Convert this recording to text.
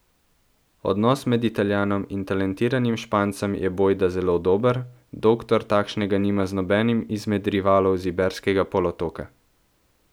Odnos med Italijanom in talentiranim Špancem je bojda zelo dober, Doktor takšnega nima z nobenim izmed rivalov z Iberskega polotoka.